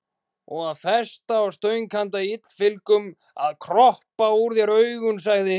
Og festa á stöng handa illfyglum að kroppa úr þér augum, sagði hinn.